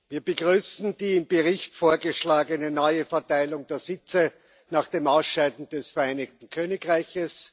Wir begrüßen die im Bericht vorgeschlagene neue Verteilung der Sitze nach dem Ausscheiden des Vereinigten Königreichs.